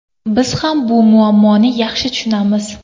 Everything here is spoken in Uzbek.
Biz ham bu muammoni yaxshi tushunamiz.